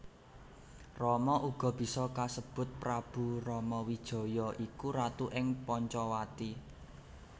Rama uga bisa kasebut Prabu Ramawijaya iku ratu ing Pancawati